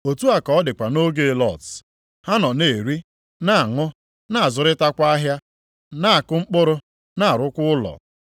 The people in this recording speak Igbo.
“Otu a ka ọ dịkwa nʼoge Lọt. Ha nọ na-eri, na-aṅụ, na-azụrịtakwa ahịa, na-akụ mkpụrụ, na-arụkwa ụlọ.